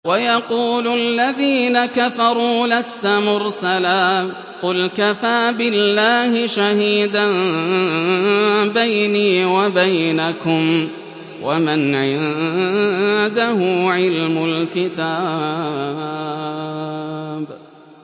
وَيَقُولُ الَّذِينَ كَفَرُوا لَسْتَ مُرْسَلًا ۚ قُلْ كَفَىٰ بِاللَّهِ شَهِيدًا بَيْنِي وَبَيْنَكُمْ وَمَنْ عِندَهُ عِلْمُ الْكِتَابِ